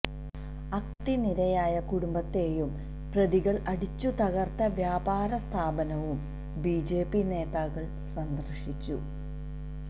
അക്രമത്തിനിരയായ കുടുംബത്തെയും പ്രതികള് അടിച്ചുതകര്ത്ത വ്യാപാര സ്ഥാപനവും ബിജെപി നേതാക്കള് സന്ദര്ശിച്ചു